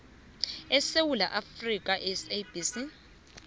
esewula afrika sabc